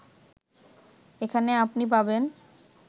এখানে আপনি পাবেন